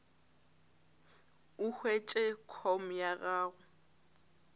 o hwetše com ya gago